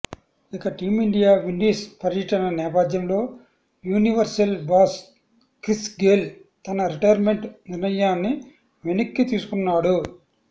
ఇక team India Windies పర్యటన నేపథ్యంలో universal boss Chris Gayle తన రిటైర్మెంట్ నిర్ణయాన్ని వెనక్కి తీసుకున్నాడు